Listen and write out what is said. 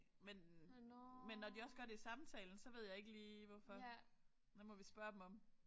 Men men når de også gør det i samtalen så ved jeg ikke lige hvorfor. Det må vi spørge dem om